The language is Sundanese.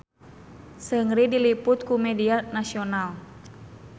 Seungri diliput ku media nasional